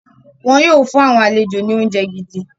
Wọn yóò fún àwọn àlejò ni oúnjẹ gidi.